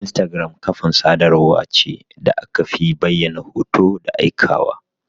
Instagram Ƙafa sadarwa ce da akafi bayyana hoto da aika wa.